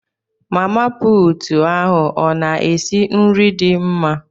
Mama pụtụ ahụ ọ na esi nri dị mma?